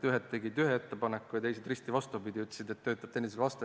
Ühed tegid ühe ettepaneku ja teised ütlesid täpselt vastupidi, et see töötab teineteise vastu.